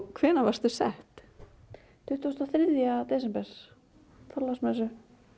hvenær varstu sett tuttugasta og þriðja desember á Þorláksmessu